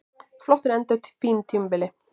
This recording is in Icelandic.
Flottur endir á fínu tímabili